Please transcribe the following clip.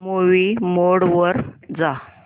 movie mode वर जा